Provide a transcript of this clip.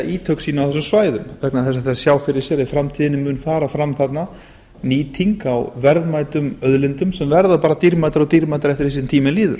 ítök sín á þessum svæðum vegna þess að þeir sjá fyrir sér að í framtíðinni mun fara fram þarna nýting á verðmætum auðlindum sem verða bara dýrmætari og dýrmætari eftir því sem tíminn líður